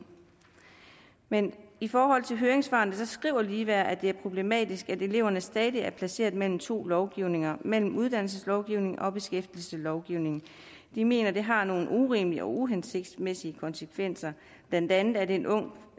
men i forhold til høringssvarene skriver foreningsfællesskabet ligeværd at det er problematisk at eleverne stadig er placeret mellem to lovgivninger mellem uddannelseslovgivningen og beskæftigelseslovgivningen de mener det har nogle urimelige og uhensigtsmæssige konsekvenser blandt andet at en ung